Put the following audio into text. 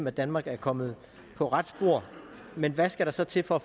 at danmark er kommet på rette spor men hvad skal der så til for at